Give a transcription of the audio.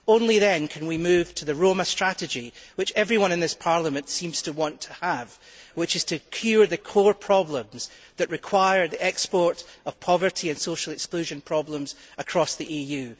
Only then can we move on to the Roma strategy, which everyone in this Parliament seems to want to have, which is to cure the core problems that lead to the export of poverty and social exclusion issues across the EU.